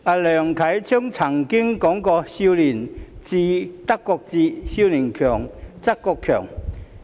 梁啟超曾經說過"少年智則國智，少年強則國強"。